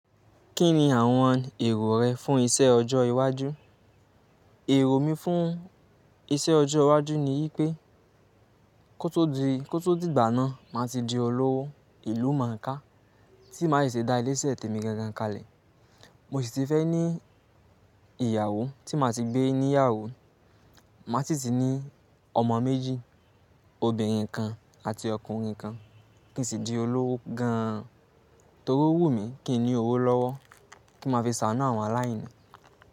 Kí ni àwọn èrò rẹ fún iṣẹ ọjọ́ iwájú? Ero mi fun iṣẹ ọjọ iwájú ni wipe kó tó dìgbà náà, màá ti di olówó ìlú màkà, tí màá sì ṣe dá ilé iṣẹ́ tèmi gangan kalẹ̀. Mo sì ti fẹ́ ní ìyàwó tí màá ti gbé níyàwó. Màá sì ti ní ọmọ méjì, obìnrin kan àti ọkùnrin kan. Kí n sì di olówó gan an. Torí owùmí kí n ní owó lọ́wọ́ kí má fi ṣàánú àwọn aláìní.